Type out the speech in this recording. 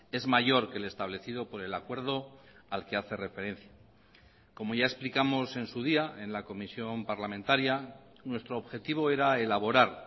es mayor que el establecido por el acuerdo al que hace referencia como ya explicamos en su día en la comisión parlamentaria nuestro objetivo era elaborar